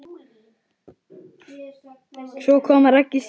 Svo kom Raggi Sig.